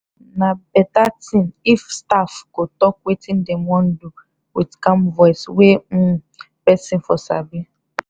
na better thing if staff go talk wetin dem wan do with calm voice wey um person for sabi.